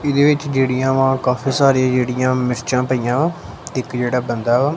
ਇਹਦੇ ਵਿੱਚ ਜਿਹੜੀਆਂ ਵਾ ਕਾਫੀ ਸਾਰੀਆਂ ਜਿਹੜੀਆਂ ਮਿਰਚਾਂ ਪਈਆਂ ਇੱਕ ਜਿਹੜਾ ਬੰਦਾ--